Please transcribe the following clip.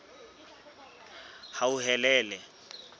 hauhelele